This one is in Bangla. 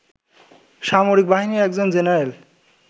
সামরিক বাহিনীর একজন জেনারেল